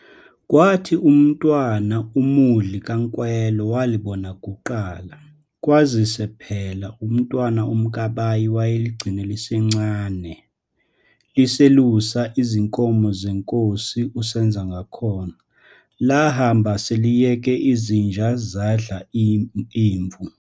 Kwathi uMntwana uMudli kaNkwelo walibona kuqala, kwazise phela uMntwana uMkabayi wayeligcine liselincane, liselusa izinkomo zeNkosi uSenzangakhona, lahamba seliyeke izinja zadla imvu.